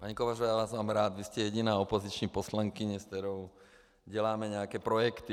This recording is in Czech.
Paní Kovářová, já vás mám rád, vy jste jediná opoziční poslankyně, se kterou děláme nějaké projekty.